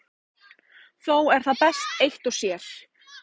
Þó er það best eitt og sér.